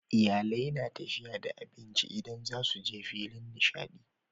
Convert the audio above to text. Iyalai na tafiya da abinci idan zasuje filin nishadi